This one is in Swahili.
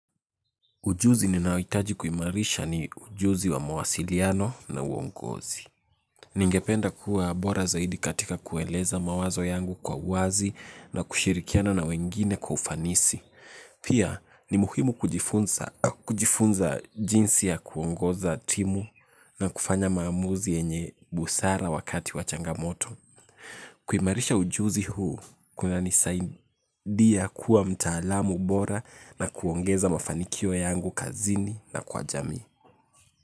Ujuzi ninaohitaji kuimarisha ni ujuzi wa mawasiliano na uongozi. Ningependa kuwa bora zaidi katika kueleza mawazo yangu kwa uwazi na kushirikiana na wengine kwa ufanisi. Pia ni muhimu kujifunza jinsi ya kuongoza timu na kufanya maamuzi yenye busara wakati wa changamoto. Kuimarisha ujuzi huu kunanisaidia kuwa mtaalamu bora na kuongeza mafanikio yangu kazini na kwa jamii.